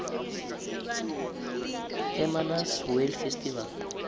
hermanus whale festival